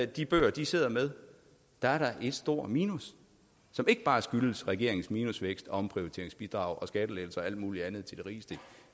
de bøger de sidder med er der et stort minus som ikke bare skyldes regeringens minusvækst og omprioriteringsbidrag og skattelettelser og alt muligt andet til de rigeste